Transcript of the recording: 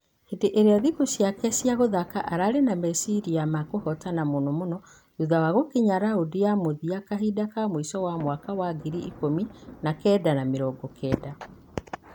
Hĩndĩ ulya thikũ ciake cia gũthaka ararĩ na meciria ma kũhotana mũno mũno thutha wa gũkinya raundi ya mũthia kahinda ka mũisho wa mĩaka ya ngiri ikũmi na kenda na mĩrongo kenda .